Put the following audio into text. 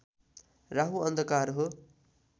राहु अन्धकार हो